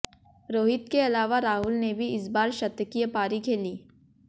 रोहित के अलावा राहुल ने भी इस बार शतकीय पारी खेली